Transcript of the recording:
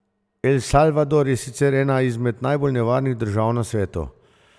El Salvador je sicer ena izmed najbolj nevarnih držav na svetu.